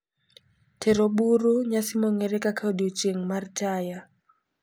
Tero buru, Nyasi mong'ere kaka odiechieng' mar Taya,